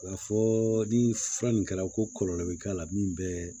K'a fɔ ni fura nin kɛra ko kɔlɔlɔ bi k'a la min bɛ